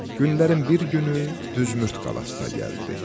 Günlərin bir günü Düsmürd qalasına gəldi.